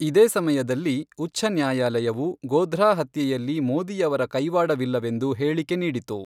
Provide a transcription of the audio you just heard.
ಇದೇ ಸಮಯದಲ್ಲಿ ಉಛ್ಛ ನ್ಯಾಯಾಲಯವು ಗೋಧ್ರಾ ಹತ್ಯೆಯಲ್ಲಿ ಮೋದಿಯವರ ಕೈವಾಡವಿಲ್ಲವೆಂದು ಹೇಳಿಕೆ ನೀಡಿತು.